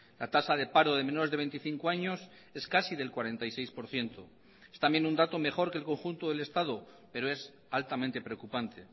la tasa de paro de menores de veinticinco años es casi del cuarenta y seis por ciento es también un dato mejor que el conjunto del estado pero es altamente preocupante